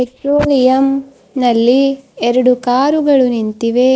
ಟ್ರೋಲಿಯಂ ನಲ್ಲಿ ಎರಡು ಕಾರುಗಳು ನಿಂತಿವೆ.